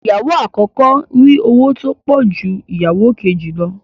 Ìyàwó àkọ́kọ́ ń rí owó tó pọ̀ ju ìyàwó kejì lọ